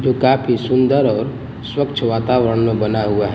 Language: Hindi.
जो काफी सुंदर और स्वच्छ वातावरण में बना हुआ है।